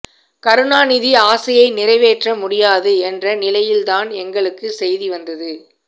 கருணாநிதி ஆசையை நிறைவேற்ற முடியாது என்ற நிலையில்தான் எங்களுக்கு செய்தி வந்தது